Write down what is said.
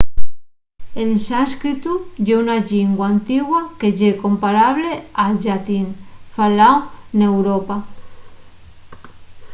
el sánscritu ye una llingua antigua que ye comparable al llatín faláu n’europa